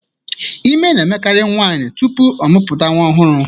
Ime na-emekari nwaanyị tupuu ọmụpụta nwa ọhụrụ.